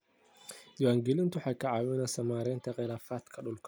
Diiwaangelintu waxay ka caawisaa maaraynta khilaafaadka dhulka.